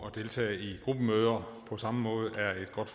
at deltage i gruppemøder på samme måde er et godt